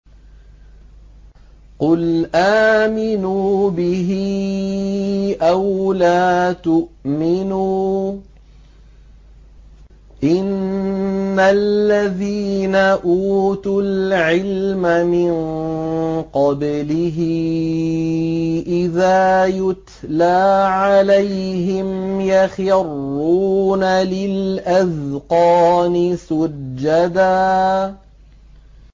قُلْ آمِنُوا بِهِ أَوْ لَا تُؤْمِنُوا ۚ إِنَّ الَّذِينَ أُوتُوا الْعِلْمَ مِن قَبْلِهِ إِذَا يُتْلَىٰ عَلَيْهِمْ يَخِرُّونَ لِلْأَذْقَانِ سُجَّدًا